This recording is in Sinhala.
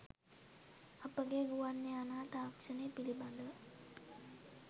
අපගේ ගුවන් යානා තාක්ෂණය පිළිබදව